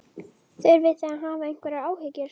Þurfið þið að hafa einhverjar áhyggjur?